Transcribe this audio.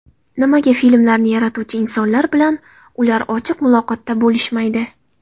Nimaga filmlarni yaratuvchi insonlar bilan ular ochiq muloqotda bo‘lishmaydi?